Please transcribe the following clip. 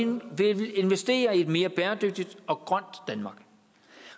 investerer i et mere bæredygtigt og grønt danmark